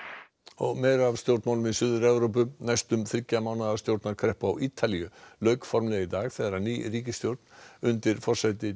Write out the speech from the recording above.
og meira af stjórnmálaástandi í Suður Evrópu næstum þriggja mánaða stjórnarkreppu á Ítalíu lauk formlega í dag þegar ný ríkisstjórn undir forsæti